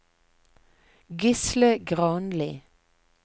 Gisle Granli